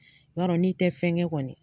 I b'a dɔn n'i tɛ fɛn kɛ kɔni